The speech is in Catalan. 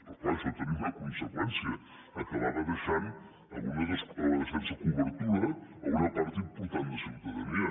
però és clar això tenia una conseqüència acabava deixant sense cobertura una part important de ciutadania